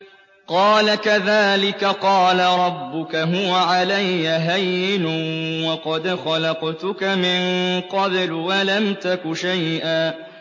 قَالَ كَذَٰلِكَ قَالَ رَبُّكَ هُوَ عَلَيَّ هَيِّنٌ وَقَدْ خَلَقْتُكَ مِن قَبْلُ وَلَمْ تَكُ شَيْئًا